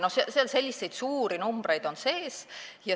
Selliseid suuri numbreid on seal sees.